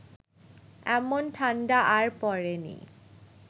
এমন ঠান্ডা আর পড়েনি